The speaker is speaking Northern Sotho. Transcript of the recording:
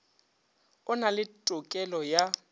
o na le tokelo ya